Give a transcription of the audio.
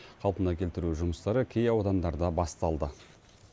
қалпына келтіру жұмыстары кей аудандарда басталды